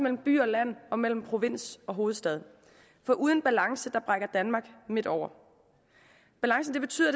mellem by og land og mellem provins og hovedstad for uden balance brækker danmark midt over balance betyder